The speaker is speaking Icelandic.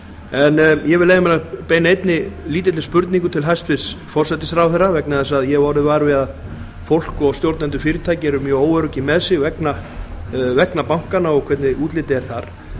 en ég vil leyfa mér að beina einni lítilli spurningu til hæstvirts forsætisráðherra vegna þess að ég hef orðið var við það að fólk og stjórnendur fyrirtækja eru mjög óöryggi með sig vegna bankanna og hvernig útlitið er þar